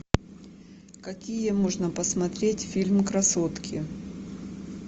какие можно посмотреть фильм красотки